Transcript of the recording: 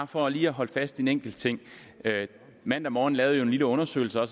for lige at holde fast i en enkelt ting mandag morgen lavede jo en lille undersøgelse af